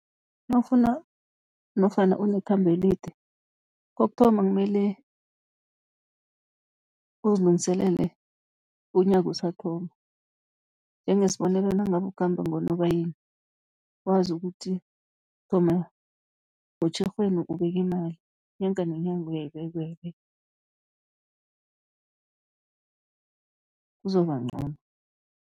Nawufuna nofana unekhambo elide, kokuthoma kumele uzilungiselele unyaka usathoma, njengesibonelo nangabe ukhamba ngoNobayeni wazi ukuthi thoma ngoTjhirhweni ubeka imali, nyanga nenyanga uyayibeka, uyayibeka kuzokuba ncono.